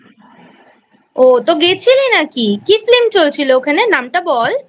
ও তো গেছিলি নাকি? কী Film চলছিল ওখানে? নামটা বল।